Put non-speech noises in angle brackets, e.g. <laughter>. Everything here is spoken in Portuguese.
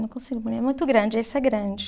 Não consigo, <unintelligible> é muito grande, esse é grande.